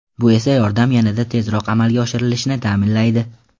Bu esa yordam yanada tezroq amalga oshirilishini ta’minlaydi.